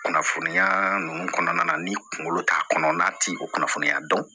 Kunnafoniya ninnu kɔnɔna na ni kunkolo t'a kɔnɔ n'a ti o kunnafoniya dɔn